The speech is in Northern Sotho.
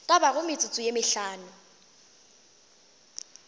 ka bago metsotso ye mehlano